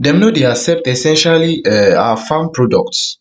dem no dey accept essentially um our farm products